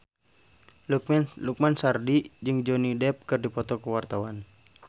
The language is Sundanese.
Lukman Sardi jeung Johnny Depp keur dipoto ku wartawan